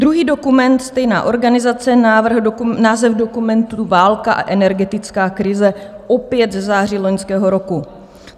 Druhý dokument, stejná organizace, návrh dokumentu Válka a energetická krize, opět ze září loňského roku.